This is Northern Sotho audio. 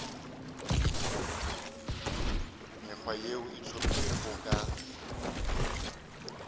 mekgwa yeo e hlomilwego ka